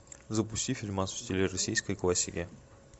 запусти фильмас в стиле российской классики